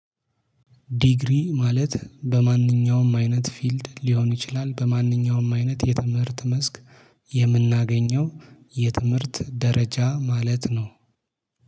ዲግሪ ማለት በማንኛውም አይነት ፊልድ ሊሆን ይችላል በማንኛውም አይነት የትምህርት መስክ የምናገኘው የትምህርት ደረጃ ማለት ነው